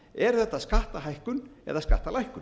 er þetta skattahækkun eða skattalækkun